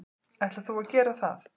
Ætlar þú að gera það?